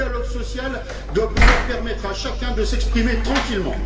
Le dialogue social doit pouvoir permettre à chacun de s'exprimer tranquillement.